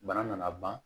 Bana nana ban